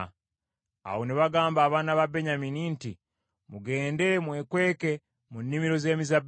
Awo ne bagamba abaana ba Benyamini nti, “Mugende mwekweke mu nnimiro z’emizabbibu,